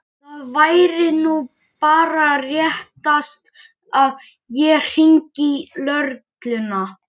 Það væri nú bara réttast að ég hringdi í lögregluna.